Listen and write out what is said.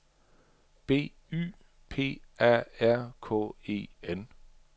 B Y P A R K E N